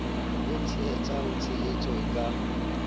e etsetsang tshehetso e ka